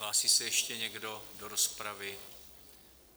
Hlásí se ještě někdo do rozpravy?